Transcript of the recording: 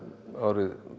árið